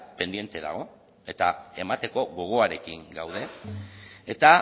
pendiente dago eta emateko gogoarekin gaude eta